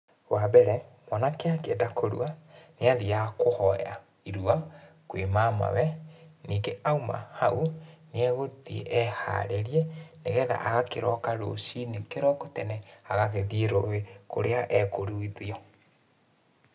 Wa mbere, mwanake angĩenda kũrua nĩ athiaga kũhoya irua kwĩ mamawe, ningĩ auma haũ nĩ egũthiĩ eharĩrie nĩgetha agakĩroka rũcinĩ kĩroko tene agagĩthĩi rũĩ kũrĩa ekũruithio